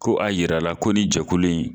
Ko a yira la ko ni jɛkulu.